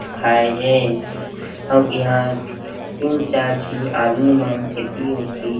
खाये हे अब यहाँ तीन चार झी आदमी मन इति उति --